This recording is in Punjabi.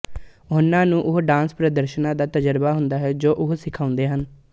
ਉਹਨਾਂ ਨੂੰ ਉਹਨਾਂ ਡਾਂਸ ਪ੍ਰਦਰਸ਼ਨਾਂ ਦਾ ਤਜ਼ਰਬਾ ਹੁੰਦਾ ਹੈ ਜੋ ਉਹ ਸਿਖਾਉਂਦੇ ਹਨ